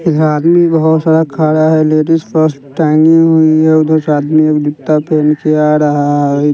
इधर आदमी बहोत सारा खाड़ा है लेडिस पर्स टांगी हुई है उधर से आदमी एक जूत्ता पेहन के आ रहा है।